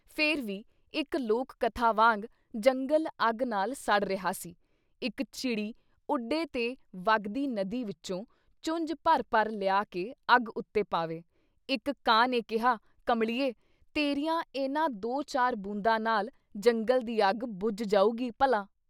ਫਿਰ ਵੀ ਇੱਕ ਲੋਕ ਕਥਾ ਵਾਂਗ ਜੰਗਲ ਅੱਗ ਨਾਲ ਸੜ ਰਿਹਾ ਸੀ, ਇੱਕ ਚਿੜੀ ਉੱਡੇ ਤੇ ਵਗਦੀ ਨਦੀ ਵਿੱਚੋਂ ਚੁੰਜ ਭਰ-ਭਰ ਲਿਆ ਕੇ ਅੱਗ ਉੱਤੇ ਪਾਵੇ, ਇੱਕ ਕਾਂ ਨੇ ਕਿਹਾ “ਕਮਲੀਏ ਤੇਰੀਆਂ ਇਹਨਾਂ ਦੋ-ਚਾਰ ਬੂੰਦਾਂ ਨਾਲ਼ ਜੰਗਲ਼ ਦੀ ਅੱਗ ਬੁੱਝ ਜਾਊਗੀ ਭਲਾ !